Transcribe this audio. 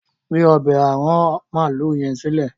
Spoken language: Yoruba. gbé ọbẹ́ aràn maalu yen silẹ!